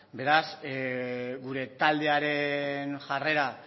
beraz gure taldearen jarrera